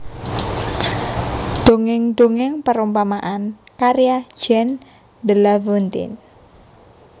Dongeng Dongeng Perumpamaan karya Jean De La Foutaine